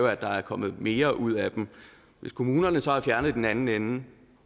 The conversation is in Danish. at der er kommet mere ud af dem hvis kommunerne så har fjernet noget i den anden ende